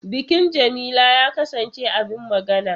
Bikin Jamila ya kasance abin magana.